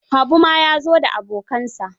Habu ma ya zo da abokansa.